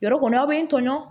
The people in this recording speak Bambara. Yɔrɔ kɔni aw bɛ n tɔɲɔgɔn